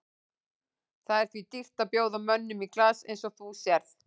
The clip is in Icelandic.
Það er því dýrt að bjóða mönnum í glas eins og þú sérð.